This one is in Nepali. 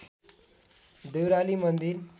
देउराली मन्दिर